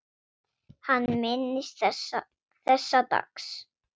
Hann minnist þessa dags.